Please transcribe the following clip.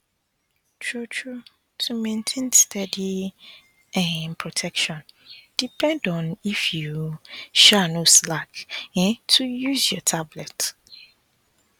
truetrue to maintain steady um protection depend on if you um no slack um to use your tablet